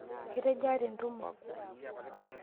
Ketejaa tentumo?